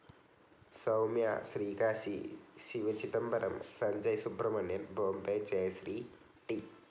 Soumya, Srikashi Sivachidambaram, Sanjay Subramanian Bombay Jayashri, T.